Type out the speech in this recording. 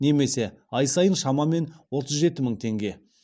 немесе ай сайын шамамен отыз жеті мың теңге